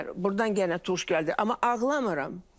Burdan yenə tuş gəldi, amma ağlamıram.